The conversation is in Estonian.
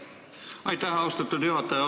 Aitäh, austatud juhataja!